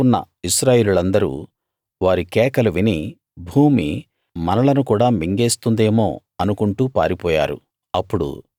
వారి చుట్టూ ఉన్న ఇశ్రాయేలీయులందరూ వారి కేకలు విని భూమి మనలను కూడా మింగేస్తుందేమో అనుకుంటూ పారిపోయారు